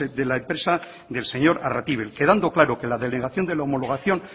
de la empresa del señor arratibel quedando claro que la denegación de la homologación